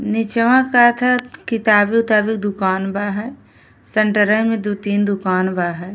निचवा कहत ह किताबी उताबी दुकान बा है। सेंटरवे में दु तीन दुकान बा है।